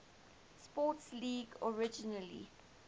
sports league originally